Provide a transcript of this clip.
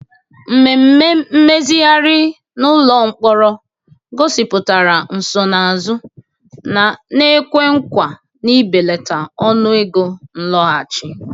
Mmemme mmezigharị n'ụlọ mkpọrọ gosipụtara nsonaazụ na-ekwe nkwa na ibelata ọnụego nlọghachi.